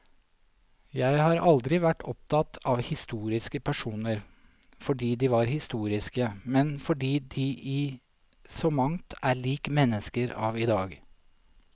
Jeg har aldri vært opptatt av historiske personer fordi de var historiske, men fordi de i så mangt er lik mennesker av i dag.